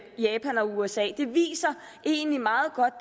japan og usa det viser egentlig meget godt